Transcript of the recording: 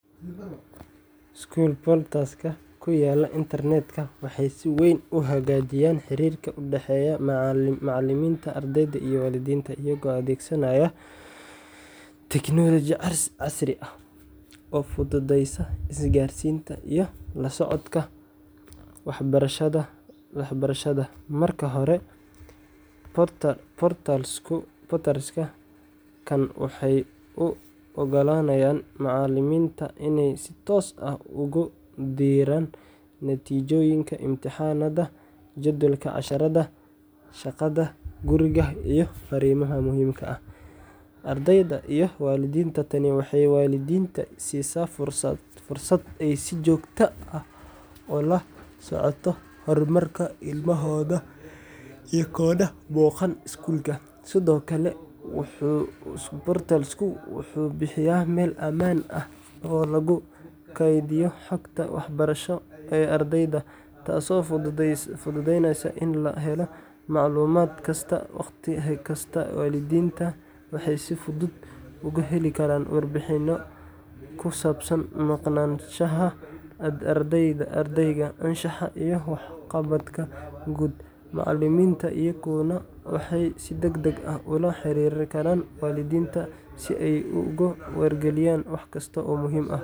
School portals-ka ku yaalla Internet-ka waxay si weyn u hagaajiyaan xiriirka u dhexeeya macalimiinta, ardayda, iyo waalidiinta iyagoo adeegsanaya tiknoolajiyad casri ah oo fududeysa isgaarsiinta iyo la socodka waxbarashada. Marka hore, portals-kan waxay u oggolaanayaan macalimiinta inay si toos ah ugu diraan natiijooyinka imtixaannada, jadwalka casharrada, shaqada guriga, iyo fariimaha muhiimka ah ardayda iyo waalidiinta. Tani waxay waalidiinta siisaa fursad ay si joogto ah ula socdaan horumarka ilmahooda iyagoon booqan iskuulka. Sidoo kale, school portal-ka wuxuu bixiyaa meel ammaan ah oo lagu kaydiyo xogta waxbarasho ee ardayda, taasoo fududeynaysa in la helo macluumaad kasta wakhti kasta. Waalidiinta waxay si fudud uga heli karaan warbixinno ku saabsan maqnaanshaha ardayga, anshaxa, iyo waxqabadka guud. Macalimiinta iyaguna waxay si degdeg ah ula xiriiri karaan waalidiinta si ay ugu wargeliyaan wax kasta oo muhiim ah.